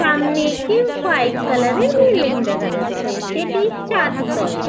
সামনে একটি white colour -এর বিল্ডিং দেখা যাচ্ছে সেটি চারতলা।